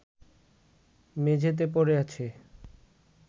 মেঝেতে পড়ে আছে